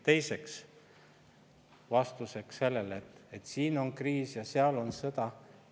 Teiseks, vastuseks sellele, et siin on kriis ja seal on sõda.